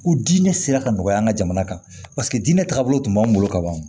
Ko diinɛ sera ka nɔgɔya an ka jamana kan paseke diinɛ tagabolo tun b'an bolo kaban